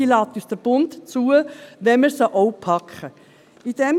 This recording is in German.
Diese lässt der Bund zu, und wir können sie anpacken.